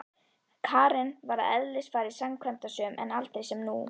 Karen var að eðlisfari framkvæmdasöm en aldrei sem nú.